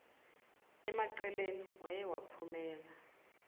emaqeleni waye waphumela